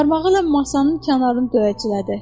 Barmağı ilə masanın kənarını döyəclədi.